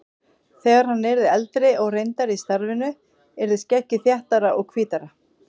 Þegar hann yrði eldri og reyndari í starfinu yrði skeggið þéttara og hvítara.